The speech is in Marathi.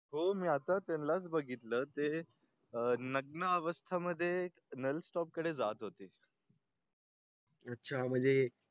हो? मी आता त्यांनाच बघितलं ते नग्न अवस्था मध्ये नालस्तोपकडे जात होते . अच्छा म्हणजे